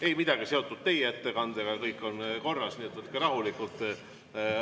Ei, midagi ei ole seotud teie ettekandega, kõik on korras, nii et võtke rahulikult.